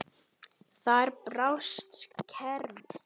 Þar brást kerfið.